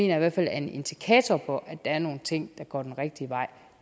jeg i hvert fald er en indikator for at der er nogle ting der går den rigtige vej